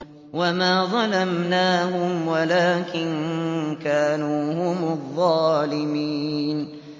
وَمَا ظَلَمْنَاهُمْ وَلَٰكِن كَانُوا هُمُ الظَّالِمِينَ